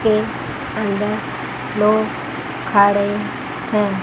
के अंदर लोग खा रहे हैं।